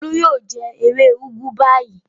Olú yóò jẹ ewé úgú báyìí.